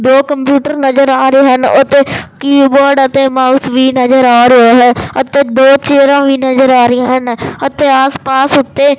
ਦੋ ਕੰਪਿਊਟਰ ਨਜ਼ਰ ਆ ਰਹੇ ਹਨ ਉਹੱਤੇ ਕੀਬੋਰਡ ਅਤੇ ਮਾਊਸ ਵੀ ਨਜ਼ਰ ਆ ਰਹੇ ਹੈਂ ਅਤੇ ਦੋ ਚੇਅਰਾਂ ਵੀ ਨਜ਼ਰ ਆ ਰਹੀ ਹਨ ਅਤੇ ਆਸ ਪਾਸ ਉਹੱਤੇ --